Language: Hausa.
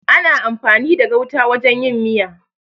Ana amfani da gauta wajen yin miya.